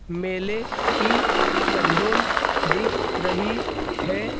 मेले की चकडोल दिख रही है।